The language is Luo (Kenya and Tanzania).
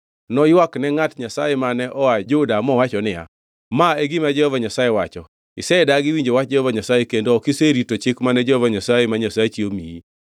Noywak ne ngʼat Nyasaye mane oa Juda mowacho niya, “Ma e gima Jehova Nyasaye wacho: ‘Isedagi winjo wach Jehova Nyasaye kendo ok iserito chik mane Jehova Nyasaye ma Nyasachi omiyi.